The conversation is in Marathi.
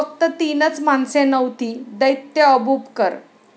फक्त तीनच माणसे नव्हती दैत्य अबूबकर.